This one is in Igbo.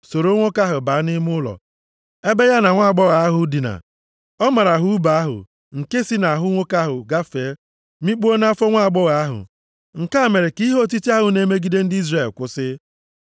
soro nwoke ahụ baa nʼime ụlọ, ebe ya na nwaagbọghọ ahụ dina. Ọ mara ha ùbe ahụ, nke si nʼahụ nwoke ahụ gafee mikpuo nʼafọ nwaagbọghọ ahụ. Nke a mere ka ihe otiti ahụ na-emegide ndị Izrel kwụsị.